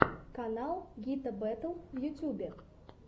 канал гита бэтл в ютубе